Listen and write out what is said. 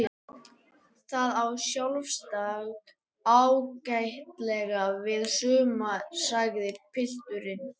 Það á sjálfsagt ágætlega við suma sagði pilturinn.